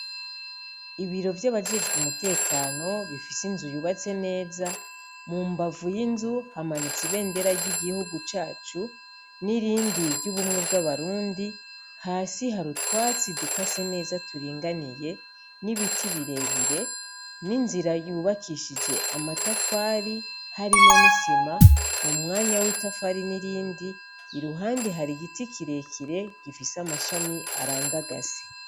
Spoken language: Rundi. Ibiro vy'abajejwe umutekano bifise inzu yubatse neza, mu mbavu y'inzu hamanutse ibendera ry'igihugu cacu, n'irindi ry'ubumwe bw'abarundi, hasi harutwatsi dukase neza turinganiye, n'ibiti birebire, n'inzira yubakishije amatafari harimo ni sima mu mwanya w'itafari nirindi, iruhande hari igiti kirekire gifise amashami arandagase.